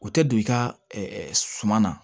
U tɛ don i ka suman na